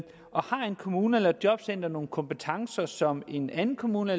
kommune eller et jobcenter nogle kompetencer som en anden kommune